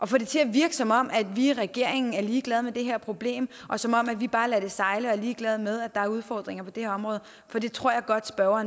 få det til at virke som om vi i regeringen er ligeglade med det her problem og som om vi bare lader det sejle og er ligeglade med at der er udfordringer på det her område for det tror jeg godt herre